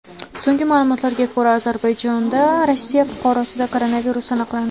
So‘nggi ma’lumotlarga ko‘ra, Ozarbayjonda Rossiya fuqarosida koronavirus aniqlandi.